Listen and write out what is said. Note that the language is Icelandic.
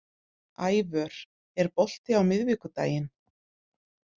Ævör, er bolti á miðvikudaginn?